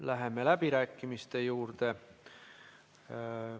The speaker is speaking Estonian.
Läheme läbirääkimiste juurde.